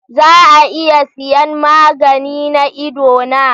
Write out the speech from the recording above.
Za a iya siyan magani na idona?